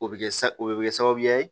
O bɛ kɛ sa o bɛ kɛ sababuya ye